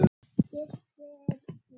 Gylltar tölur.